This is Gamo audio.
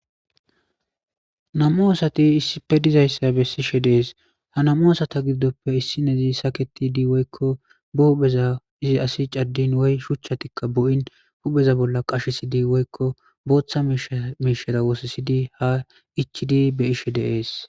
Namu asati issife dizayssa bessishe dees ha namu asata gididoppe issi nezi saketi di woykko buubeza izi asi caddin woy shuchchatikka bu'in hupheza bolla qashesidi woykko booththa shmiishera wosisidi ha ichidi be ishe deees.